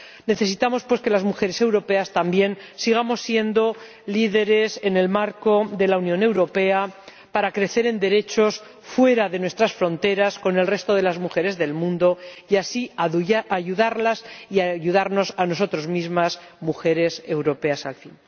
Necesitamos, pues, que las mujeres europeas también sigamos siendo líderes en el marco de la Unión Europea para crecer en derechos fuera de nuestras fronteras con el resto de las mujeres del mundo y, así, ayudarlas y ayudarnos a nosotras mismas, mujeres europeas al fin.